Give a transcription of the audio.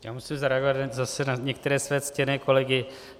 Já musím zareagovat zase na některé své ctěné kolegy.